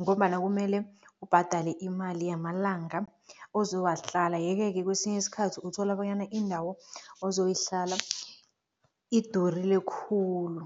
ngombana kumele ubhadale imali yamalanga ozowahlala yeke-ke kwesinye isikhathi uthola bonyana indawo ozoyihlala idurile khulu.